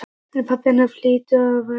En pabba hennar hlýtur að vera sama.